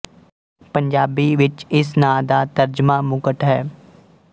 ਪੰਜਾਬੀ ਵਿੱਚ ਇਸ ਨਾਂ ਦਾ ਤਰਜਮਾ ਮੁਕਟ ਹੈ